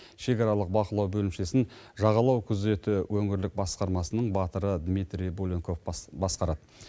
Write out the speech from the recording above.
шекаралық бақылау бөлімшесін жағалау күзеті өңірлік басқармасының батыры дмитрий буленков басқарады